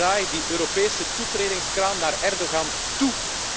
Draai die Europese toetredingskraan naar Erdogan toe.